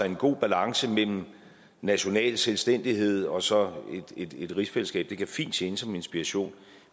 en god balance mellem national selvstændighed og så et rigsfællesskab det kan fint tjene som inspiration